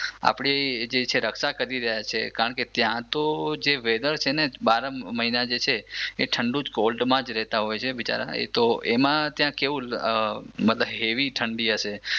આપણી જે રક્ષા કરી રહ્યા છે કારણ કે ત્યાં તો જે વેધર છે ને બારહ મહિના જે છે એ ઠંડુ જ કોલ્ડમાં જ રેતા હોય છે બિચારા એ તો એમાં ક્યાંક એવું હેવી જ ઠંડી હશે